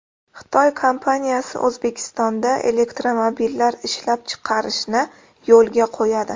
Xitoy kompaniyasi O‘zbekistonda elektromobillar ishlab chiqarishni yo‘lga qo‘yadi.